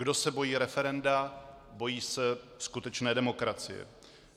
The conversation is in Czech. Kdo se bojí referenda, bojí se skutečné demokracie.